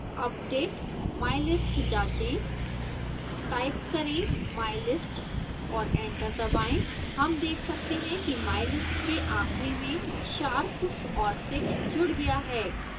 update mylist जाँचें type करें mylist और एंटर दबाएं हम देख सकते हैं कि mylist के आखिरी में sharp और six जुड़ गया है